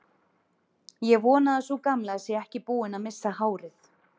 Ég vona að sú gamla sé ekki búin að missa hárið.